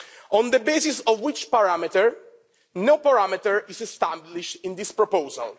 On the basis of which parameter? No parameter is established in this proposal.